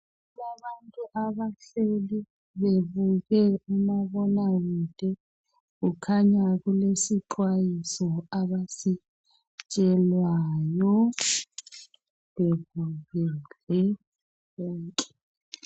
Kulabantu abahleli bebuke umabonakude. Kukhanya kulesixwayiso abasitshelwayo bebukele bonke.